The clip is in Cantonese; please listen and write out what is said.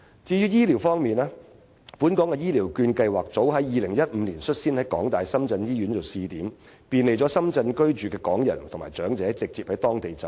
至於醫療方面，本港的醫療券計劃早在2015年率先在香港大學深圳醫院作為試點，便利在深圳居住的港人和長者直接在當地就醫。